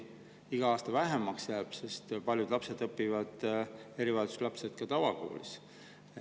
Iga aastaga jääb lapsi vähemaks, sest paljud erivajadustega lapsed õpivad ju ka tavakoolis.